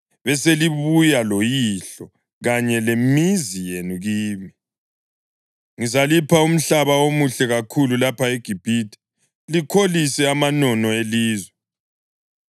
beselibuya loyihlo kanye lemizi yenu kimi. Ngizalipha umhlaba omuhle kakhulu lapha eGibhithe, likholise amanono elizwe.’